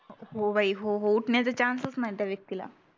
हो बाई हो हो हो उटण्याचा chance च नाही त्या व्यक्तीला